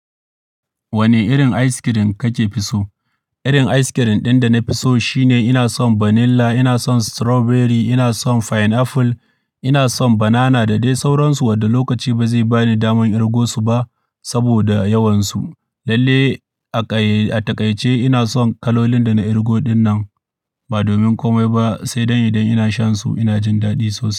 Wane irin ice cream kake fi so? Irin ice cream ɗin da na fi so shine ina son vanilla, ina son strawberry, ina son pineapple, ina son banana da dai sauransu wadda lokaci ba zai ba ni daman kirgo su ba saboda yawansu. Lalle a ƙayye, a taƙaice ina son kalolin da na kirgo dinnan ba domin komai ba, sai don idan ina shansu ina jin daɗi sosai.